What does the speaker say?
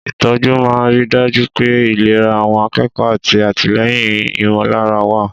Ìtọ́jú máa ń rí i dájú pé ìlera àwọn akẹ́kọ̀ọ́ àti àtìlẹ́yìn ìmọ̀lára wà.